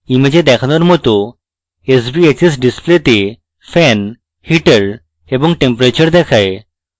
image দেখানোর মত sbhs ডিসপ্লেতে fan heater এবং temperature দেখায়